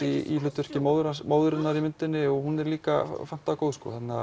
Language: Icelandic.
í hlutverki móðurinnar móðurinnar í myndinni og hún er líka fantagóð